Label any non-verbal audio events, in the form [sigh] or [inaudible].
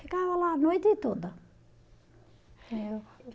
Ficava lá a noite toda. [unintelligible]